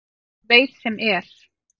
En hann veit sem er.